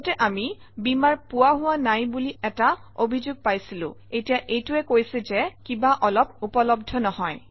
আগতে আমি বীমাৰ পোৱা হোৱা নাই বুলি এটা অভিযোগ পাইছিলো এতিয়া এইটোৱে কৈছে যে কিবা অলপ উপলব্ধ নহয়